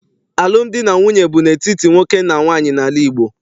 Alụmdi na nwunye bụ n'etiti nwoke na nwaanyị n'ala Igbo.